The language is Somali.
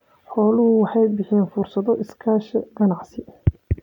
Xooluhu waxay bixiyaan fursado iskaashi ganacsi.